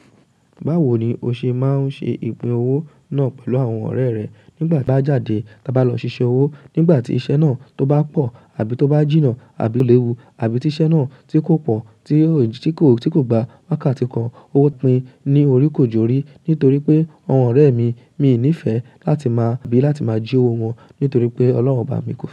Báwo ni o ṣe máa ń ṣe ìpín owó náà pẹ̀lú àwọn ọ̀rẹ́ rẹ nígbà tí bá jáde tába lọ ṣiṣẹ́ owó, nígbà tí iṣẹ́ náà tó bá pọ̀ àbí tó bá jìnnà àbí léwu, àbí tí iṣẹ́ náà tí kò pọ̀ tí kò, tí kò gba wákàtí kan, owó pin ní orí kò jorí nítorí pé àwọn ọ̀rẹ́ mi, mi ò ní fẹ́ láti máa bi láti máa jí owó wọn nítorí pé Ọlọ́run obá mi ko fe.